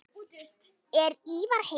Er Ívar heima?